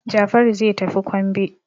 Jafaru zai tafi kwambe.